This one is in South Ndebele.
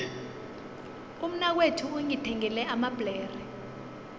umnakwethu ungithengele amabhlere